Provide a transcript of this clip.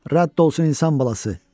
Rədd olsun insan balası!